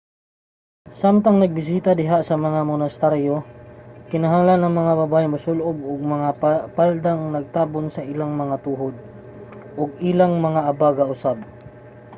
samtang nagbisita diha sa mga monasteryo kinahanglan ang mga babaye nga mosul-ob og mga paldang nagtabon sa ilang mga tuhod ug ang ilang mga abaga usab